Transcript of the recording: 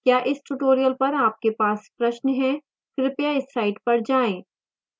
क्या इस tutorial पर आपके पास प्रश्न है कृपया इस साइट पर जाएं